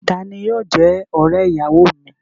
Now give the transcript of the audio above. Ta ni yóò jẹ́ ọ̀rẹ́-ìyàwọ mi?